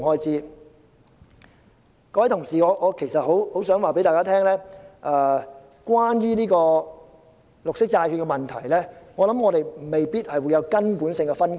各位同事，我很想告訴大家，關於綠色債券的問題，我們未必有根本性的分歧。